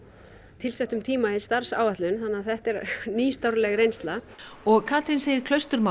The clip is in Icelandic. tilsettum tíma í starfsáætlun þannig að þetta er nýstárleg reynsla og Katrín segir